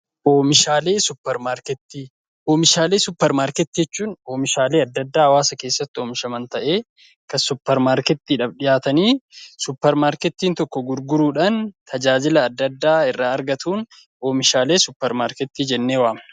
Oomishaalee suupparmaarkeetii jechuun oomishaalee adda addaa hawwaasa keessatti oomishaman ta'ee, kan suupparmaarkeetiidhaaf dhiyaatanii suupparmaarkeetiin tokko gurguruudhaan tajaajila adda addaa irraa argatuun oomishaalee suupparmaarkeetii jennee waamna.